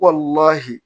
Kɔli